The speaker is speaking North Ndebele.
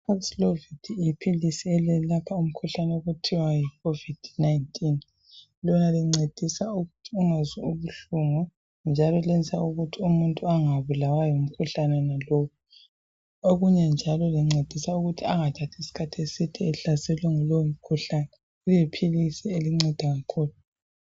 paxlovid Iyiphiliso elelapha Umkhuhlane okuthiwa Yi COVID 19 Lona lincedisa ukuthi ungazwa buhlungu olunye njaloNjalo lenza ukuthi umuntu angabulawa ngumkhuhlane wonalowu Okunye njalo lincedisa ukuthi angathathi isikhathi eside ehlaselwe yilowo mkhuhlane liyiphilisi elinceda kakhulu